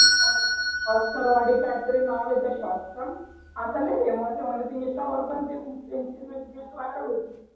oscar वाडी काही तरी नाव आहे shop चा आता लय famous म्हणे ते insta वर पण ते खूप famous viral होती